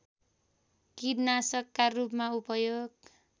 कीटनाशकका रूपमा उपयोग